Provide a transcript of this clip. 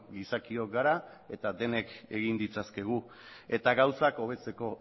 gizakiok gara eta denok egin ditzazkegu eta gauzak hobetzeko